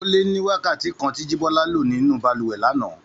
Ó lé ní wákàtí kan tí Jíbọ́lá lò nínú balùwẹ̀ lánàá